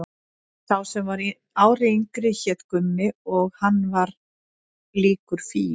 Sá sem var ári yngri hét Gummi og hann var líkur Fíu.